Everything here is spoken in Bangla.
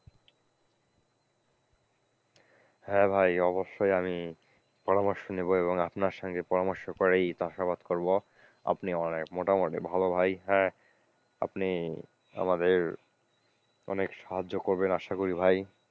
হ্যাঁ ভাই অবশ্যই আমি পরামর্শ নেব এবং আপনার সঙ্গে পরামর্শ করেই চাষাবাদ করবো। আপনি অনেক মোটামুটি ভালো ভাই হ্যাঁ, আপনি আমাদের অনেক সাহায্য করবেন আশা করি ভাই।